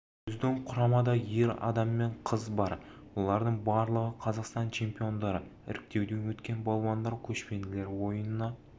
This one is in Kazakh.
біздің құрамада ер адам мен қыз бар олардың барлығы қазақстан чемпиондары іріктеуден өткен балуандар көшпенділер ойынына